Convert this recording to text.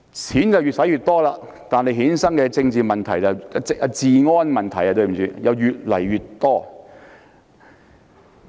錢越用越多，但衍生的治安問題卻越來越多。